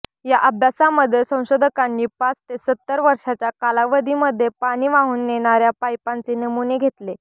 या अभ्यासामध्ये संशोधकांनी पाच ते सत्तर वर्षाच्या कालावधीमध्ये पाणी वाहून नेणाऱ्या पाईपांचे नमूने घेतले